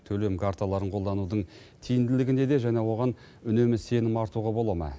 төлем карталарын қолданудың тиімділігі неде және оған үнемі сенім артуға бола ма